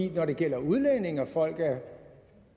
når det gælder udlændinge og folk af